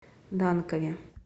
данкове